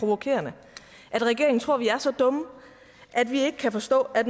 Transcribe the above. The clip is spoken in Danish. provokerende at regeringen tror vi er så dumme at vi ikke kan forstå at